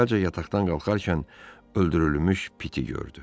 Əvvəlcə yataqdan qalxarkən öldürülmüş piti gördü.